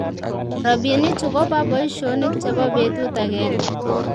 Robinichu koba boishonik chebo betut agenge